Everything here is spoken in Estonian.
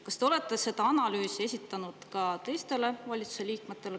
Kas te olete selle analüüsi esitanud ka teistele valitsuse liikmetele?